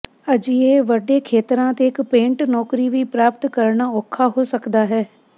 ਅਜਿਹੇ ਵੱਡੇ ਖੇਤਰਾਂ ਤੇ ਇੱਕ ਪੇਂਟ ਨੌਕਰੀ ਵੀ ਪ੍ਰਾਪਤ ਕਰਨਾ ਔਖਾ ਹੋ ਸਕਦਾ ਹੈ